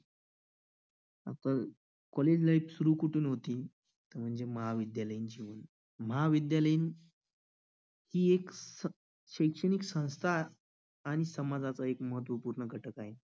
पण college life सुरू कुठून होते. अह महाविद्यालय महाविद्यालयीन ही एक शैक्षणिक संस्था आणि समाजाचा एक महत्त्वपूर्ण घटक आहे.